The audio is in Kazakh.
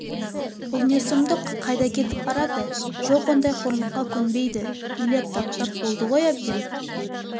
бұл не сұмдық қайда кетіп барады жоқ ондай қорлыққа көнбейді илеп таптап болды ғой әбден